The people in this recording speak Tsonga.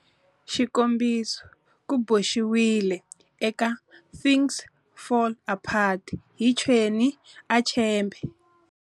Xikombiso, ku boxiwile eka"Things Fall Apart" hi Chinua Achebe.